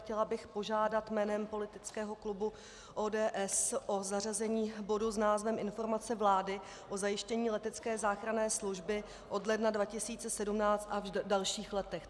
Chtěla bych požádat jménem politického klubu ODS o zařazení bodu s názvem Informace vlády o zajištění letecké záchranné služby od ledna 2017 a v dalších letech.